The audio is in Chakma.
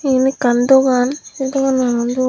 iyen ekkan dogan se dogananot uoh.